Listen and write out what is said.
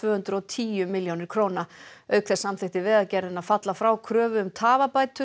hundruð og tíu milljónir króna auk þess samþykkti Vegagerðin að falla frá kröfu um